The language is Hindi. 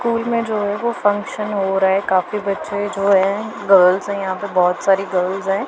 स्कूल में जो है वो फंक्शन हो रहा है काफी बच्चे जो है गर्ल्स है यहां पे बहोत सारी गर्ल्स है।